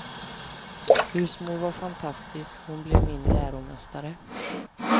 Husmor var fantastisk, hon blev min läromästare.